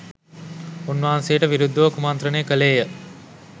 උන්වහන්සේට විරුද්ධව කුමන්ත්‍රණය කළේ ය.